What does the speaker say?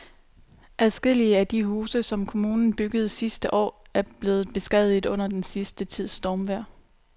Adskillige af de huse, som kommunen byggede sidste år, er blevet beskadiget under den sidste tids stormvejr.